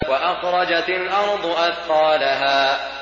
وَأَخْرَجَتِ الْأَرْضُ أَثْقَالَهَا